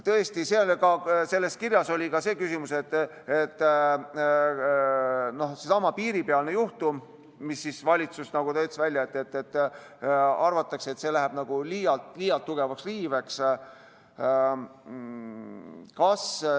Tõesti, selles kirjas oli ka see küsimus, et arvatakse, et seesama piiripealne juhtum, mille valitsus nagu välja käis, läheb liialt tugevaks riiveks: "...